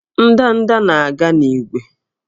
Ndanda na-aga n'ígwè